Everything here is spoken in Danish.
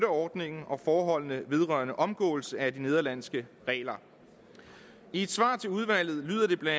ordningen og forholdene vedrørende omgåelse af de nederlandske regler i et svar til udvalget lyder det bla